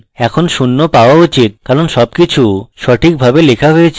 এখন শূন্য পাওয়া উচিত কারণ সবকিছু সঠিকভাবে লেখা হয়েছে